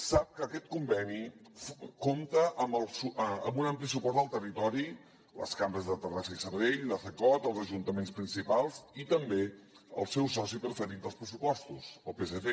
sap que aquest conveni compta amb un ampli suport del territori les cambres de terrassa i sabadell la cecot els ajuntaments principals i també el seu soci preferit als pressupostos el psc